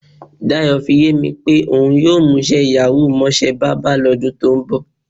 Dayò̩ fi yé mi pé òun yóò mús̩é̩ yàwúù mó̩s̩é̩ bábà ló̩dún tó ń bò̩.